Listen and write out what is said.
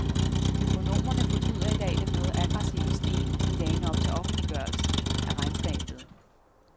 Økonomerne fortryder i dag den noget aggressive stil i dagene op til offentliggørelsen af regnskabet.